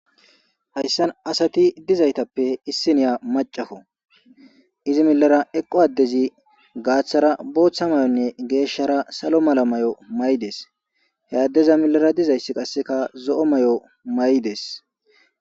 Hayssan asati dizaytappe issiniya macafo izi milara eqqo addezi gaaththara booththa may7onne geeshshara salo mala may7o may7dees he addeza milara dizayssi qasseka zo7o may7o may7 dees.